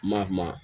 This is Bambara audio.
Maa maa